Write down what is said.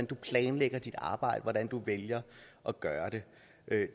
du planlægger dit arbejde og hvordan du vælger at gøre det